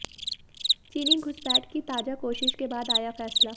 चीनी घुसपैठ की ताजा कोशिश के बाद आया फैसला